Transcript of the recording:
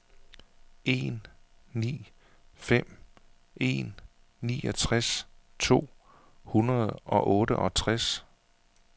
en ni fem en niogtres to hundrede og otteogtres